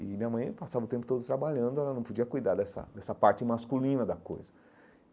E minha mãe passava o tempo todo trabalhando e ela não podia cuidar dessa dessa parte masculina da coisa.